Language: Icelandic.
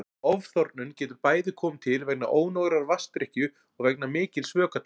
Ofþornun getur bæði komið til vegna ónógrar vatnsdrykkju og vegna mikils vökvataps.